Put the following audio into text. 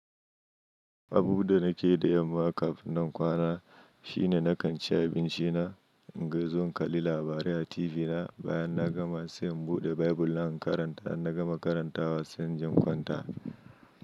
Abubuwa da nake yi da yamma kafin na kwana shine na kanci abinci na, in ga zo in kalli labarai a TV na, bayan na gama sai in buɗe Bible na in karanta, in na gama karantawa sai inje in kwanta.